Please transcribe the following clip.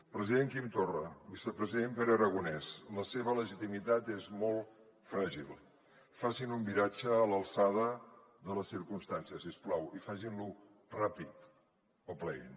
president quim torra vicepresident pere aragonès la seva legitimitat és molt fràgil facin un viratge a l’alçada de les circumstàncies si us plau i facin lo ràpid o pleguin